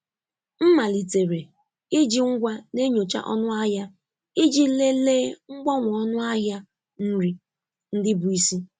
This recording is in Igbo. M malitere iji ngwa na-enyocha ọnụ ahịa iji lelee mgbanwe ọnụ ahịa nri ndị bụ isi.